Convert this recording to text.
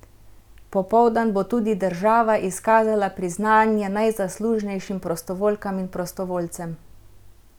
Popoldan bo tudi država izkazala priznanje najzaslužnejšim prostovoljkam in prostovoljcem.